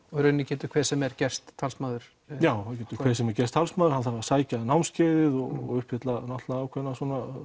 og í rauninni getur hver sem er gerst talsmaður já það getur hver sem er gerst talsmaður hann þarf að sækja námskeiðið og uppfylla ákveðnar